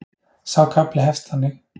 Sá kafli hefst þannig: